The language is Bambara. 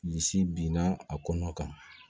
Bilisi binna a kɔnɔ kan